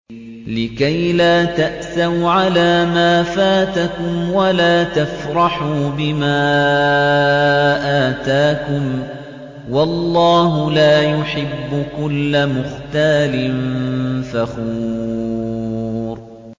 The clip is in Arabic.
لِّكَيْلَا تَأْسَوْا عَلَىٰ مَا فَاتَكُمْ وَلَا تَفْرَحُوا بِمَا آتَاكُمْ ۗ وَاللَّهُ لَا يُحِبُّ كُلَّ مُخْتَالٍ فَخُورٍ